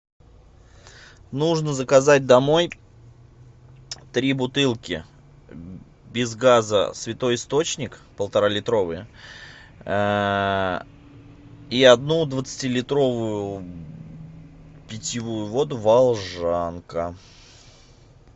нужно заказать домой три бутылки без газа святой источник полтора литровые и одну двадцати литровую питьевую воду волжанка